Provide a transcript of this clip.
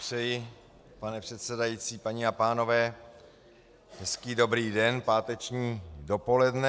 Přeji, pane předsedající, paní a pánové, hezký dobrý den, páteční dopoledne.